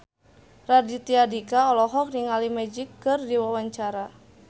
Raditya Dika olohok ningali Magic keur diwawancara